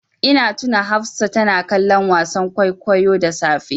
Ina tuna Hafsa tana kallon wasan kwaikwayo da safe.